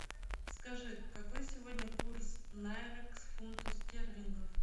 скажи какой сегодня курс найры к фунту стерлингов